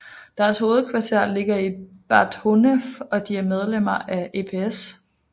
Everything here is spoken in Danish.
Deres hovedkvarter ligger i Bad Honnef og de er medlemmer af EPS